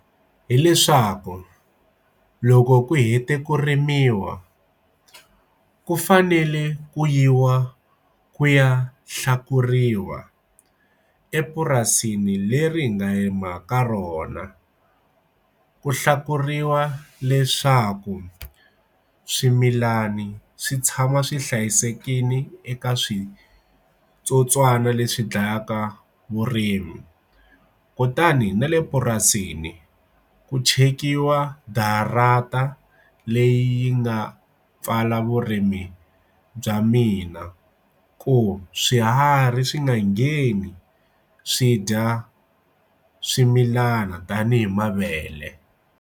Hileswaku loko ku hete ku rimiwa ku fanele ku yiwa ku ya hlekuriwa epurasini leri nga rima ka rona ku hlukuriwa leswaku swimilani swi tshama swi hlayisekile eka switsotswana leswi dlayaka vurimi kutani na le purasini ku chekiwa darata leyi nga pfala vurimi bya mina ku swiharhi swi nga ngheni swi dya swimilana tanihi mavele.